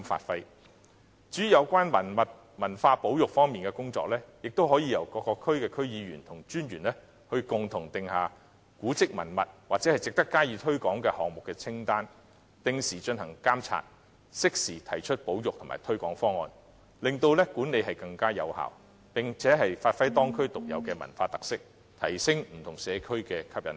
至於有關文物和文化保育方面的工作，亦可由各區區議員和文化專員共同訂立古蹟文物或值得加以推廣項目的清單，定時進行監察，適時提出保育和推廣方案，令管理更有效，並發揮當區特有的文化特色，提升不同社區的吸引力。